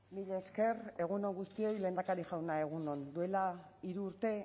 mila esker egun on guztioi lehendakari jauna egun on duela hiru urte